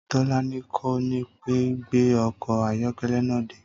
Tó̩lání kò ní pé gbé o̩kò̩ ayó̩ké̩lé̩ náà dé